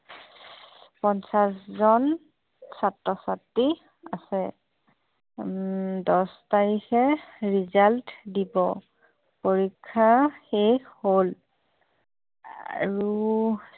পঞ্চাচজন ছাত্ৰ-ছাত্ৰী আছে উম দচ তাৰিখে result দিব পৰীক্ষা শেষ হল আৰু